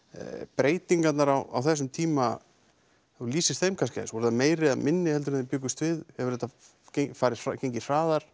breytingarnar á þessum tíma ef þú lýsir þeim kannski aðeins voru þær meiri eða minni en þið bjuggust við hefur þetta gengið hraðar